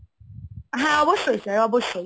হ্যাঁ অবশ্যই sir অবশ্যই।